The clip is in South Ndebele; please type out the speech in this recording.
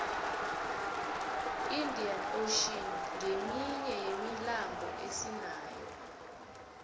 iinda ocean nqeminye yemilambo esinayo